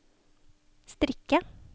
strikke